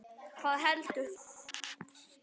Hvað heldur það?